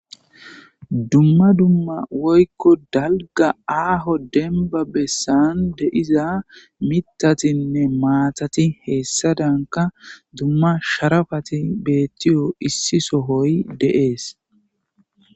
Dumma dumma woykko dalga aaho denba bessan deiza mitatinne maatati heessadanka dumma sharafati beettiyo issi sohoy de7ees.